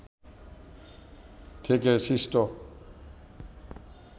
থেকে সৃষ্ট